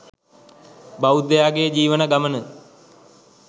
බෞද්ධයාගේ ජීවන ගමන